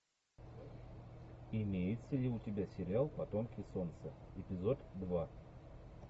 имеется ли у тебя сериал потомки солнца эпизод два